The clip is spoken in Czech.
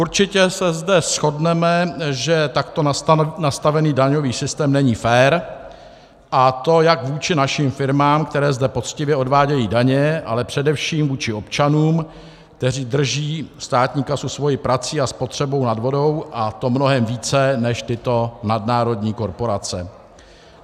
Určitě se zde shodneme, že takto nastavený daňový systém není fér, a to jak vůči našim firmám, které zde poctivě odvádějí daně, ale především vůči občanům, kteří drží státní kasu svou prací a spotřebou nad vodou, a to mnohem více než tyto nadnárodní korporace.